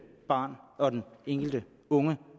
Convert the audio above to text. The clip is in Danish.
barn og den enkelte unge